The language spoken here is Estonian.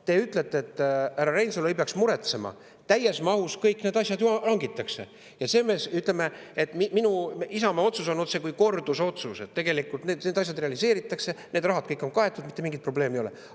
Te ütlete, et härra Reinsalu ei peaks muretsema, sest täies mahus kõik need asjad ju hangitakse, Isamaa otsus on otsekui kordusotsus, et tegelikult need asjad realiseeritakse, kõik see raha on kaetud, mitte mingeid probleeme ei ole.